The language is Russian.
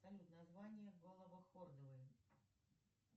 салют название головохордовые